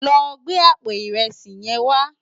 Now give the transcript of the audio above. Lò gbé àpó irèsí yèn wá